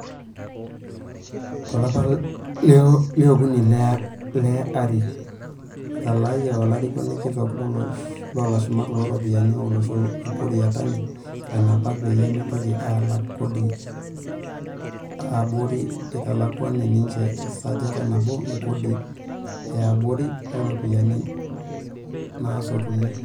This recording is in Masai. Tolapa leokuni le arii, etalaayia olarikoni kitok loolashumak ooropiyiani olosho Ukur Yatani ilanapak peyie mitoki aalak kodi e aborii, eitalakuni ninje esajati nabo e kodii eaborii oo ropiyiani naasotuni.